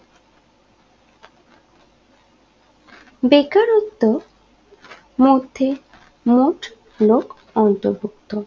বেকারত্ব মধ্যে মোট লোক অন্তর্ভুক্ত